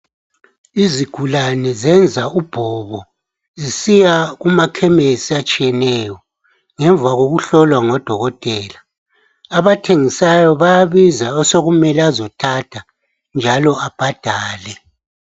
Izigulani zenza ubhobo zisiyakuma khemisi atshiyeneyo ngemva kokuhlolwa ngudokotela abathengisayo bayabiza osokumele azothatha njalo ababhadale